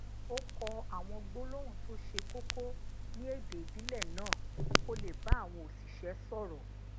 ó kó àwọn gbólóhùn to se koko ní èdè ìbílè náà kó lè bá àwọn osise sòrò